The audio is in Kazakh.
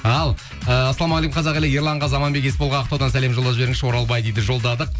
ал ііі ассалаумағалейкум қазақ елі ерланға заманбек есболға ақтаудан сәлем жолдап жіберіңізші оралбай дейді жолдадық